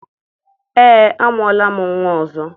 Ee, amụọla m nnwa ọzọ.